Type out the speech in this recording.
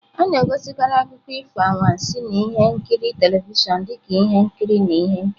A na-egosikarị akụkọ ifo anwansi na ihe nkiri telivishọn dị ka ihe nkiri na ihe nkiri.